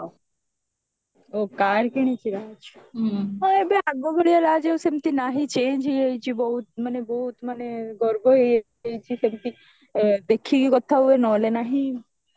ଓଃ car କିଣିଛି ଆଛା ଆଉ ଆଗ ଭଳିଆ ରାଜ ଆଉ ସେମିତି ନାହିଁ ମାନେ change ହେଇଯାଇଛି ବହୁତ ମାନେ ବହୁତ ମାନେ ଗର୍ବ ହେଇଯାଇଛି ସେମିତି ମାନେ ଦେଖିକି କଥା ହୁଏ ନହେଲେ ନାହିଁ